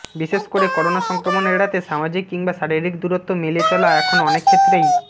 বিশেষ করে করোনা সংক্রমণ এড়াতে সামাজিক কিংবা শারীরিক দূরত্ব মেলে চলা এখন অনেক ক্ষেত্রেই